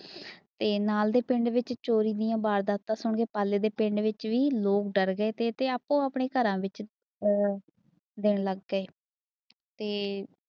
ਤੇ ਨਾਲ ਦੇ ਪਿੰਡ ਵਿਚ ਚੋਰੀ ਦੀਆ ਵਾਰਦਾਤਾਂ ਸੁਣ ਪਾਲੇ ਦੇ ਪਿੰਡ ਵਿਚ ਵੀ ਡਰ ਗਏ ਤੇ ਆਪੋ ਆਪਣੇ ਘਰਾਂ ਵਿਚ ਜਾਣ ਲੱਗ ਪਏ। ਤੇ